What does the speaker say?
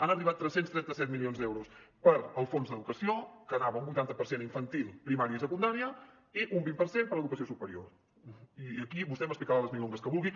han arribat tres cents i trenta set milions d’euros per al fons d’educació que anava un vuitanta per cent a infantil primària i secundària i un vint per cent per a educació superior i aquí vostè m’explicarà les milongas que vulgui